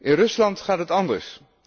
In Rusland gaat het anders.